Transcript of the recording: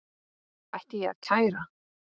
Ætti ég að kæra?